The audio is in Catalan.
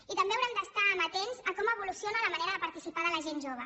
i també haurem d’estar amatents a com evoluciona la manera de participar de la gent jove